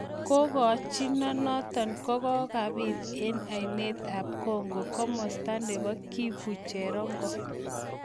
kagokchino notok kokapiit en aineet ap Congo komasta nepo kivu cherongo.